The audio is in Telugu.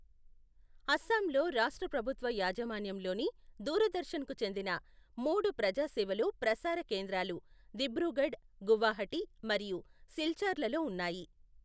అస్సాంలో రాష్ట్ర ప్రభుత్వ యాజమాన్యంలోని దూరదర్శన్కు చెందిన, మూడు ప్రజాసేవలో ప్రసార కేంద్రాలు దిబ్రూగఢ్, గువాహటి మరియు సిల్చార్లలో ఉన్నాయి.